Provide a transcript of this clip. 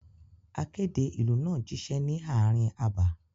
Akéde ìlú náà jíṣẹ́ ní ààrin abà.